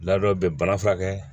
Ladon bɛ bana furakɛ